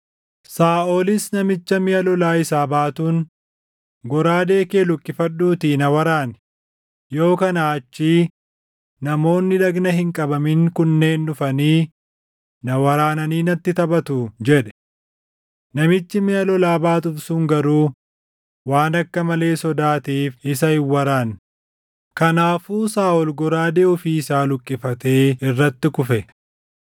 Saaʼolis namicha miʼa lolaa isaa baatuun, “Goraadee kee luqqifadhuutii na waraani; yoo kanaa achii namoonni dhagna hin qabamin kunneen dhufanii na waraananii natti taphatuu” jedhe. Namichi miʼa lolaa baatuuf sun garuu waan akka malee sodaateef isa hin waraanne; kanaafuu Saaʼol goraadee ofii isaa luqqifatee irratti kufe.